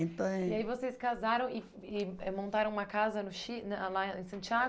Então eh... e aí vocês casaram e e eh montaram uma casa no Chi ãh na lá em Santiago?